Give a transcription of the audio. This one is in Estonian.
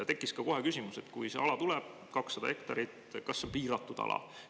Tekkis ka kohe küsimus, et kui see ala tuleb, 200 hektarit, siis kas see on piiratud ala.